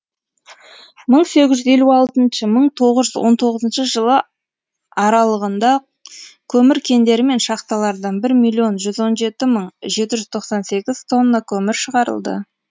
мың сегіз жүз елу алтыншы мың тоғыз жүз он тоғызыншы жылы аралығында көмір кендері мен шахталардан бір миллион жүз он жеті мың жеті жүз тоқсан сегіз тонна көмір шығарылды